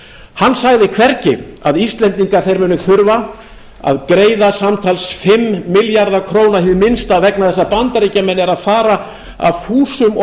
hann sagði hvergi að íslendingar munu þurfa að greiða samtals fimm milljarða króna hið minnsta vegna þess að bandaríkjamenn eru að fara af fúsum og